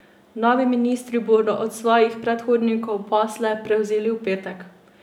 Novi ministri bodo od svojih predhodnikov posle prevzeli v petek.